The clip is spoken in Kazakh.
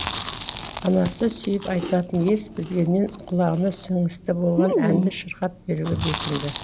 анасы сүйіп айтатын ес білгеннен құлағына сіңісті болған әнді шырқап беруге бекінді